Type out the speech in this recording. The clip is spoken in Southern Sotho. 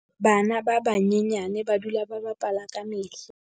bana ba banyenyane ba dula ba bapala ka mehla